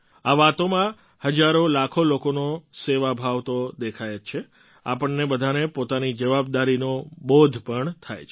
આ વાતોમાં હજારોલાખો લોકોનો સેવાભાવ તો દેખાય જ છે આપણને બધાને પોતાની જવાબદારીનો બોધ પણ થાય છે